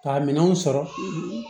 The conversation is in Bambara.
Ka minɛnw sɔrɔ